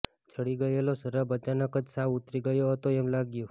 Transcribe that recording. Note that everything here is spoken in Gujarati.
ચડી ગયેલો શરાબ અચાનક જ સાવ ઉતરી ગયો હતો એમ લાગ્યું